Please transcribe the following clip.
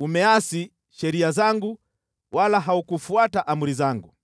Umeasi sheria zangu wala haukufuata amri zangu.